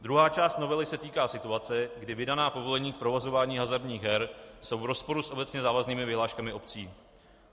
Druhá část novely se týká situace, kdy vydaná povolení k provozování hazardních her jsou v rozporu s obecně závaznými vyhláškami obcí.